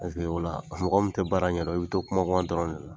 Paseke ola mɔgɔ min tɛ baara ɲɛdɔn, i bɛ to kuma kuma dɔrɔn de la.